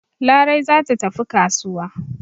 Larai za ta tafi kasuwa.